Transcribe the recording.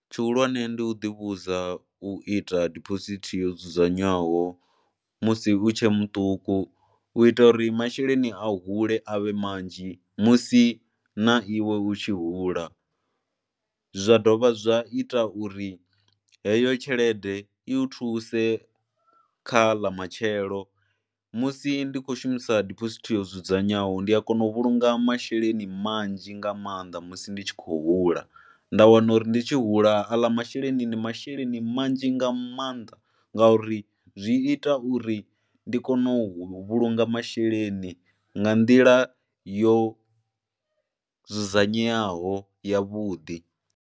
Tshihulwane ndi u ḓivhudza u ita diphosithi yo dzudzanywaho musi u tshe muṱuku u ita uri masheleni a hule a vhe manzhi musi na iwe u tshi hula. Zwa dovha zwa ita uri heyo tshelede i u thuse kha ḽa matshelo musi ndi khou shumisa diphosithi yo dzudzanywaho ndi a kona u vhulunga masheleni manzhi nga maanḓa musi ndi tshi khou hula, nda wana uri ndi tshi hula aḽa masheleni ndi masheleni manzhi nga maanḓa ngauri zwi ita uri ndi kone u vhulunga masheleni nga nḓila yo dzudzanywaho yavhuḓi.